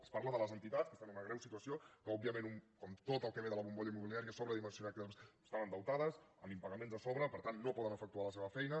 es parla de les entitats que estan en una greu situació que òbviament com tot el que ve de la bombolla immobiliària estan sobredimensionades i estan endeutes amb impagaments a sobre per tant no poden efectuar la seva feina